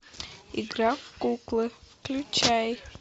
игра в куклы включай